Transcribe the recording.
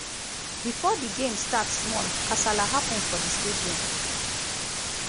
bifor di game start small kasala happun for di stadium.